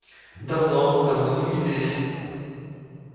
давно давно не виделись